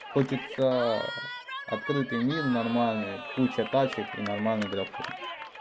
хочется открытый мир нормальный куча тачек и нормальный графон